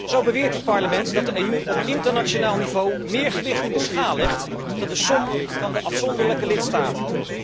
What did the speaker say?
Zo beweert dit parlement dat de EU op internationaal niveau meer gewicht in de schaal legt dan de som van de afzonderlijke lidstaten.